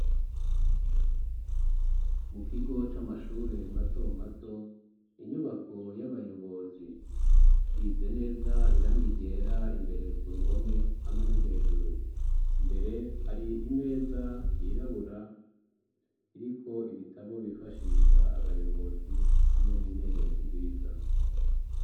mukigo c'amashure matomato inyubako y'abayobozi isize neza iranga ryera imbere ku ruhome hamwe no hejuru mbere hari imeza yirabura iriko ibitabo bifashisha abayobozi hamwe n'intebe nziza